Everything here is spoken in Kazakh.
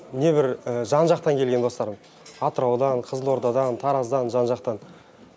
небір жан жақтан келген достарым атыраудан қызылордадан тараздан жан жақтан